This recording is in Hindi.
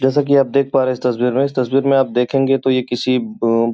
जैसा कि आप देख पा रहे हैं इस तस्वीर में इस तस्वीर में आप देखेंगे तो ये किसी अ --